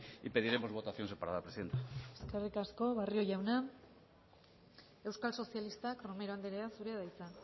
y pediremos votación separada presidenta eskerrik asko barrio jauna euskal sozialistak romero andrea zurea da hitza